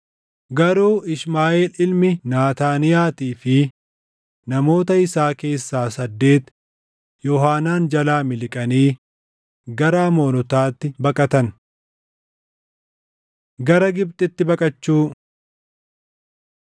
Garuu Ishmaaʼeel ilmi Naataaniyaatii fi namoota isaa keessaa saddeeti Yoohaanaan jalaa miliqanii gara Amoonotaatti baqatan. Gara Gibxitti Baqachuu